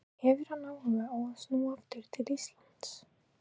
En hefur hann áhuga á að snúa aftur til Íslands?